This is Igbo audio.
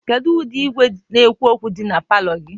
kedu ụdị igwe na-ekwu okwu dị na palọ gị?